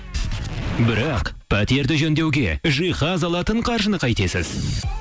бірақ пәтерді жөндеуге жиһаз алатын қаржыны қайтесіз